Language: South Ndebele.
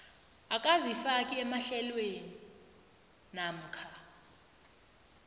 akazifaki emahlelweni namkha